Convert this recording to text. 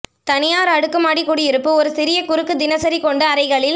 தனியார் அடுக்குமாடி குடியிருப்பு ஒரு சிறிய குறுக்கு தினசரி கொண்டு அறைகளில்